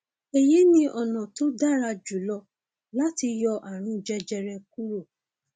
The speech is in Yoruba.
èyí ni ọnà tó dára jùlọ láti yọ ààrùn jẹjẹrẹ kúrò